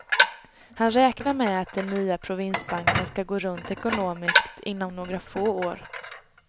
Han räknar med att den nya provinsbanken skall gå runt ekonomiskt inom några få år.